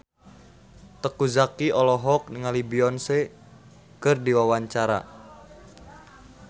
Teuku Zacky olohok ningali Beyonce keur diwawancara